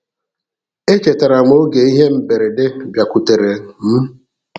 E chetara m oge ihe mberede bịakwutere m.